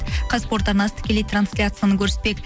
казспорт арнасы тікелей трансляцияны көрсетпек